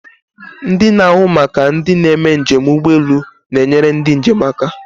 Ndị na-ahụ maka ndị na-eme njem ụgbọelu na-enyere ndị njem aka.